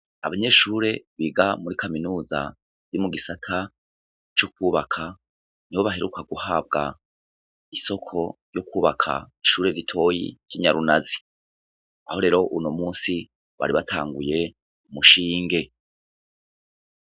Abanyeshure biga muri kaminuza mu gisata c'ukubaka nibo baheruka kubaka isoko ryo kubaka ishure ritoyi ry'inyarunazi, aho rero uno musi bari batanguye umushinge.